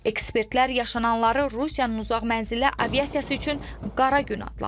Ekspertlər yaşananları Rusiyanın uzaqmənzilli aviasiyası üçün qara gün adlandırır.